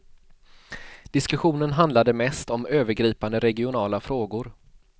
Diskussionen handlade mest om övergripande regionala frågor.